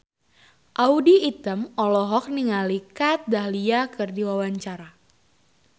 Audy Item olohok ningali Kat Dahlia keur diwawancara